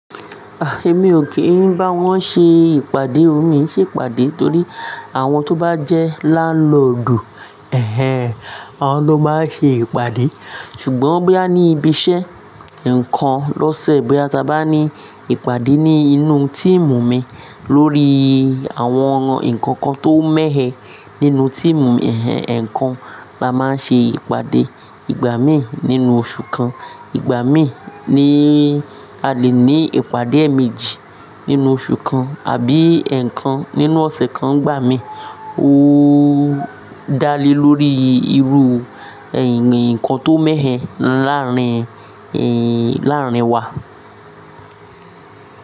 Ah! Èmi ò kí n bá wọn ṣe ìpàdé. Emi ki ṣe ìpàdé torí àwọn tó bá jẹ́ láńlòdu, ẹh ẹh, awọ́n ló máa ṣe ìpàdé. Ṣùgbọ́n bóyá ní ibi iṣẹ́, èèkan lọ́sẹ̀ bí a bá ní ìpàdé ní inú tíìmù mi lórí àwọn nǹkan kan tó mẹ́he nínú tíìmù mi, ẹh ẹh, èèkan lá máa nṣe ìpàdé, ìgbà mí nínú oṣù kan, ìgbà mí ni a lè ní ìpàdé èemẹji nínú oṣù kan àbí èèkan nínú ọ̀sẹ̀ kan nìgbà mí. Ó dálé lórí irú nǹkan tó mẹ́he láàárín, ẹh ẹh, láàárín wa.